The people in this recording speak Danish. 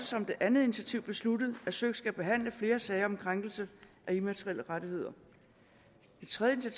som det andet initiativ besluttet at søik skal behandle flere sager om krænkelse af immaterielle rettigheder det tredje